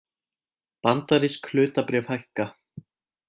Bandarísk hlutabréf hækka